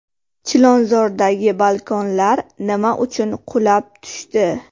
Chilonzordagi balkonlar nima uchun qulab tushdi?